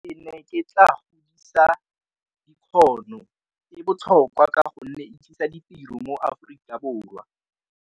Ke ne ke tla godisa e botlhokwa ka gonne e tlisa ditiro mo Aforika Borwa.